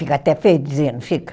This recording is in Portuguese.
Fica até feio dizer, não fica?